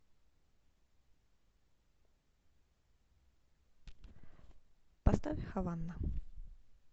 поставь хавана